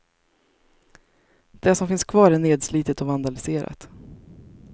Det som finns kvar är nedslitet och vandaliserat.